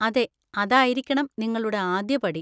അതെ, അതായിരിക്കണം നിങ്ങളുടെ ആദ്യപടി.